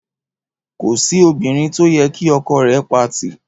Kò sí obìrin to yẹ kí ọkọ rè pati